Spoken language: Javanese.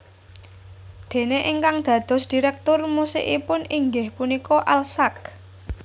Déné ingkang dados direktur musikipun inggih punika Al Sack